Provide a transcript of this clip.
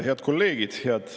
Head kolleegid!